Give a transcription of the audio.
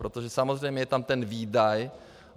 Protože samozřejmě je tam ten výdaj.